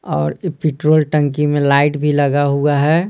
और ये पेट्रोल टंकी में लाइट भी लगा हुआ है।